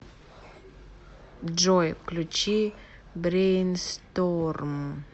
джой включи брейнсторм